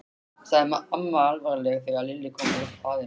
sagði amma alvarleg þegar Lilla kom út af baðinu.